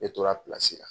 Ne tora la